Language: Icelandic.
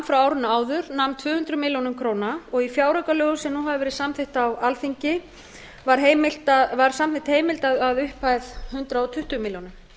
frá árinu áður nam tvö hundruð milljóna króna og í fjáraukalögum sem nú hafa verið samþykkt á alþingi var samþykkt heimild að upphæð hundrað tuttugu milljónir